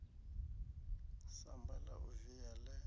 samba la u via le